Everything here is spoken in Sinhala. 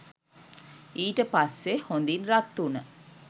ඊට පස්සේ හොඳින් රත් වුණ